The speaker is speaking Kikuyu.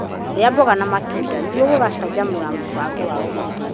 Rĩa matunda na mboga nĩguo gũcanjamũra mũbango wa ũgitĩri.